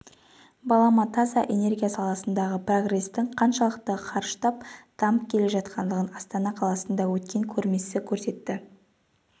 балама таза энергия саласындағы прогресстің қаншалықты қарыштап дамып келе жатқандығын астана қаласында өткен көрмесі көрсетті